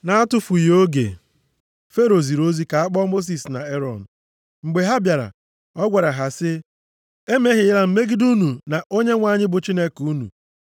Na-atụfughị oge, Fero ziri ozi ka a kpọọ Mosis na Erọn. Mgbe ha bịara, ọ gwara ha sị, “Emehiela m megide unu na Onyenwe anyị bụ Chineke unu.